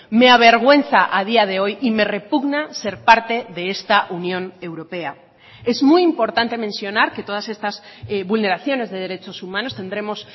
me avergüenza a día de hoy y me repugna ser parte de esta unión europea es muy importante mencionar que todas estas vulneraciones de derechos humanos tendremos